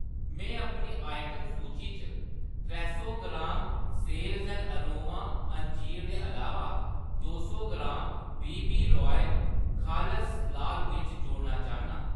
मैं अपनी आइटम सूची च त्रै सौ ग्राम साल्ज़ ते अरोमा अंजीर दे अलावा दो सौ ग्राम बी बी रॉयल खालस लाल मर्च जोड़ना चाह्‌न्नां।